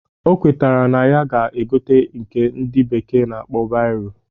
O kwetakwara na ya ga-egote nke ndị bekee na-akpọ bairo